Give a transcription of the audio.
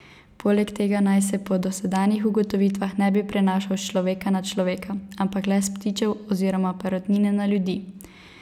Poleg tega naj se po dosedanjih ugotovitvah ne bi prenašal s človeka na človeka, ampak le s ptičev oziroma perutnine na ljudi.